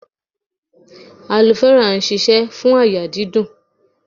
Aloe vera sise fún àyà dídùn.